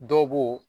Dɔw b'o